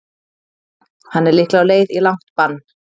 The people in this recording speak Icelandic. Hann er líklega á leið í langt bann.